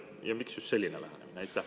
Ja miks just selline lähenemine?